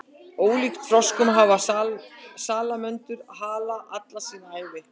ólíkt froskum hafa salamöndrur hala alla sína ævi